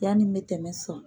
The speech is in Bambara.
Yanni mɛ tɛmɛ sɔrɔ.